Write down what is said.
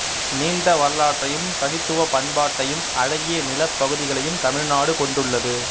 நீண்ட வரலாற்றையும் தனித்துவ பண்பாட்டையும் அழகிய நிலப்பகுதிகளையும் தமிழ்நாடு கொண்டுள்ளது